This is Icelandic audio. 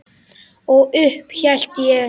Og upp hélt ég.